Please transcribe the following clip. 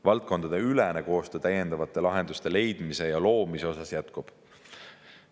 Valdkondadeülene koostöö täiendavate lahenduste leidmiseks ja loomiseks jätkub.